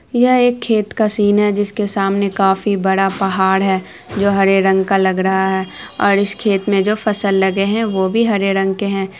यह एक जीम है जहाँ पर बहुत सारे जीम करने के सामान रखे है एक बड़ी सी बिशाल टायर है इस टायर का रंग पीला और काला है।